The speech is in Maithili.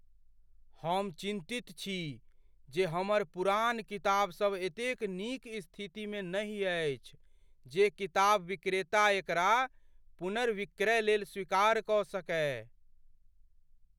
हम चिन्तित छी जे हमर पुरान किताब एतेक नीक स्थितिमे नहि अछि जे किताब विक्रेता एकरा पुनर्विक्रय लेल स्वीकार कऽ सकय।